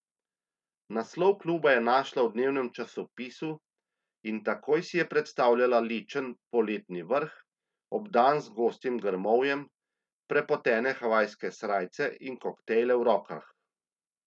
Naslov kluba je našla v dnevnem časopisu in takoj si je predstavljala ličen poletni vrt, obdan z gostim grmovjem, prepotene havajske srajce in koktejle v rokah.